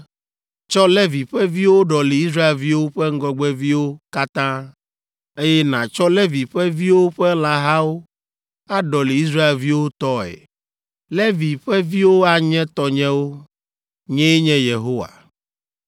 “Tsɔ Levi ƒe viwo ɖɔli Israelviwo ƒe ŋgɔgbeviwo katã, eye nàtsɔ Levi ƒe viwo ƒe lãhawo aɖɔli Israelviwo tɔe. Levi ƒe viwo anye tɔnyewo; nyee nye Yehowa.